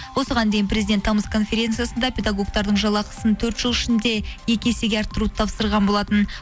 осыған дейін президент тамс конференциясында педагогтардың жалақысын төрт жыл ішінде екі есеге арттыруды тапсырған болатын